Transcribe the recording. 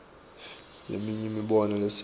leminye imibono lesekela